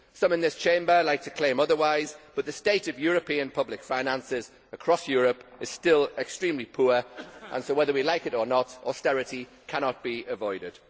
Some in this Chamber like to claim otherwise, but the state of European public finances across Europe is still extremely poor and so, whether we like it or not, austerity cannot be avoided.